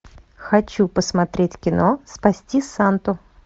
хочу посмотреть кино спасти санту